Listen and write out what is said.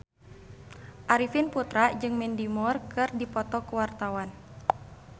Arifin Putra jeung Mandy Moore keur dipoto ku wartawan